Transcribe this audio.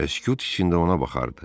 və sükut içində ona baxardı.